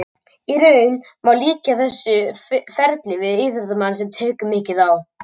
Í raun má líkja þessu ferli við íþróttamann sem tekur mikið á.